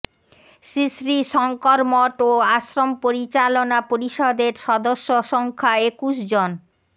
শ্রীশ্রী শংকর মঠ ও আশ্রম পরিচালনা পরিষদের সদস্য সংখ্যা একুশ জন